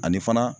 Ani fana